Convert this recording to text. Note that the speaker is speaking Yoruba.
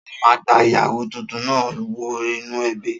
Ta ló máa gba ìyàwó tuntun náà wọ inú ẹbí?